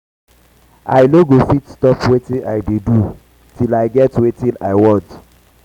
i no go fit stop wetin um i dey do till i get um wetin i want